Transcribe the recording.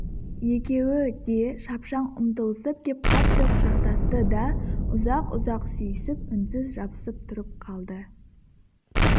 екеуі де шапшаң ұмтылысып кеп қатты құшақтасты да ұзақ-ұзақ сүйісіп үнсіз жабысып тұрып қалды